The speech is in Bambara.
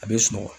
A bɛ sunɔgɔ